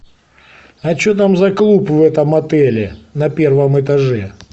а что там за клуб в этом отеле на первом этаже